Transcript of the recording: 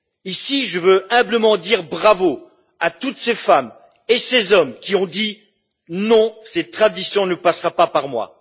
Ici, je veux humblement dire bravo à toutes ces femmes et ces hommes qui ont dit Non, ces traditions ne passeront pas par moi.